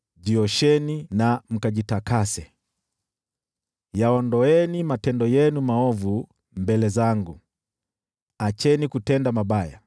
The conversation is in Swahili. jiosheni na mkajitakase. Yaondoeni matendo yenu maovu mbele zangu! Acheni kutenda mabaya,